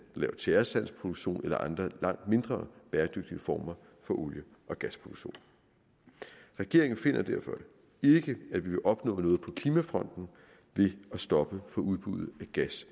laver tjæresandsproduktion eller andre langt mindre bæredygtige former for olie og gasproduktion regeringen finder derfor ikke at vi vil opnå noget på klimafronten ved at stoppe for udbuddet af gas